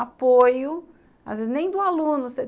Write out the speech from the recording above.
apoio, às nem do aluno.